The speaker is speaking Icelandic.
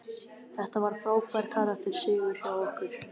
Þetta var frábær karakter sigur hjá okkur.